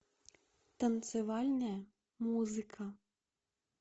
танцевальная музыка